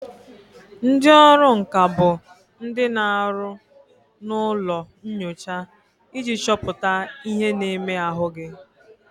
Ndị ọrụ nka bụ ndị na aru na ụlọ nyocha iji chọpụta ihe na-eme ahụ gị